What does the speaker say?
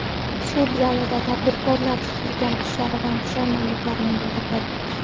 Sud zalida tadbirkorlar qilgan ishlaridan pushaymonliklarini bildirdi.